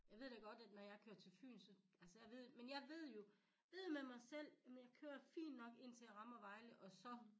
Jeg ved da godt at når jeg kører til Fyn altså jeg ved men jeg ved jo ved med mig selv jamen jeg kører fint nok indtil jeg rammer Vejle og så